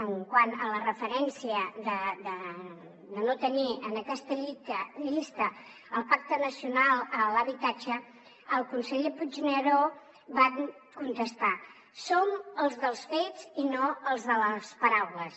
quant a la referència de no tenir en aquesta llista el pacte nacional per l’habitatge el conseller puigneró va contestar som els dels fets i no els de les paraules